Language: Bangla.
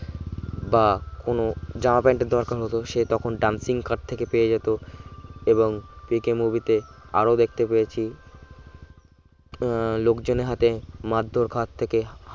বা কোন জামা প্যান্টের দরকার হতো সে তখন dancing car থেকে পেয়ে যেতে এবং পিকে movie তে আরো দেখতে পেয়েছি উম লোকজনের হাতে মারধর খাওয়ার থেকে